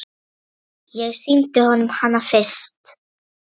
Ég sýndi honum hana fyrst.